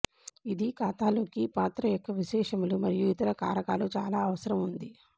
ఇది ఖాతాలోకి పాత్ర యొక్క విశేషములు మరియు ఇతర కారకాలు చాలా అవసరం ఉంది